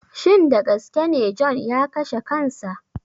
Shin dagaskene john ya kashe kansa.